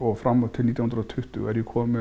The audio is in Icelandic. fram til nítján hundruð og tuttugu er ég komin